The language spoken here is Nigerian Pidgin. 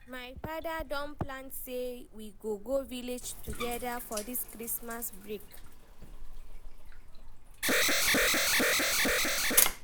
my father don plan say we go go village together for dis Christmas break.